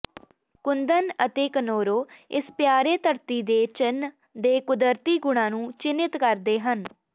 ਕੁੰਦਨ ਅਤੇ ਕਨੋਰੋ ਇਸ ਪਿਆਰੇ ਧਰਤੀ ਦੇ ਚਿੰਨ੍ਹ ਦੇ ਕੁਦਰਤੀ ਗੁਣਾਂ ਨੂੰ ਚਿੰਨ੍ਹਿਤ ਕਰਦੇ ਹਨ